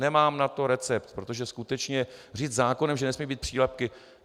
Nemám na to recept, protože skutečně říct zákonem, že nesmějí být přílepky...